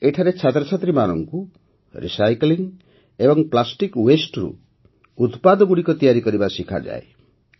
ଏଠାରେ ଛାତ୍ରଛାତ୍ରୀମାନଙ୍କୁ ରିସାଇକ୍ଲିଂ ଏବଂ ପ୍ଲାଷ୍ଟିକ୍ ୱାସ୍ତେ ରୁ ଉତ୍ପାଦଗୁଡ଼ିକ ତିଆରି କରିବା ଶିଖାଯାଏ